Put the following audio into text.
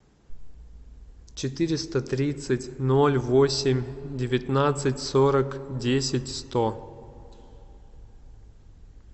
четыреста тридцать ноль восемь девятнадцать сорок десять сто